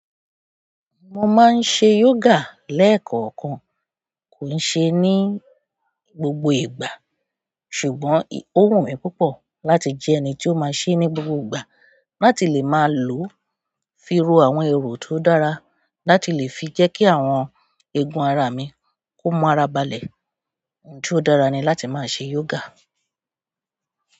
Mo má ń ṣe yoga lekaankan. Kì í ṣe ní gbogbo ìgbà, ṣùgbọ́n ó wùnmí púpọ̀ láti jẹ́ ẹni tó má ṣe ní gbogbo ìgbà, láti lè má lò fi rò àwọn èrò tó dára láti lè fi jẹ́ kí àwọn egun ara mi, kí o mú ara balẹ̀. Ǹjẹ́ ó dára ni láti máa ṣe yoga?